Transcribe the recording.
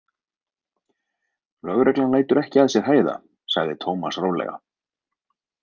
Lögreglan lætur ekki að sér hæða, sagði Tómas rólega.